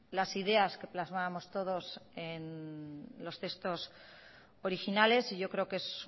las ideas que plasmábamos todos en los textos originales y yo creo que es